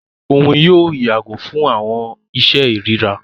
Òun yóò yàgò fún awọn iṣe irira.